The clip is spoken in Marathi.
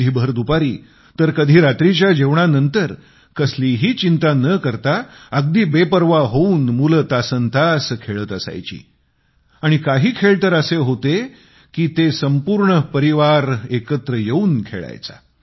कधी भर दुपारी तर कधी रात्रीच्या जेवणानंतर कसलीही चिंता न करता अगदी बेपर्वा होऊन मुले तासन्तास खेळत असायची आणि काही खेळ तर असे होते की संपूर्ण परिवार सोबत खेळत असायचा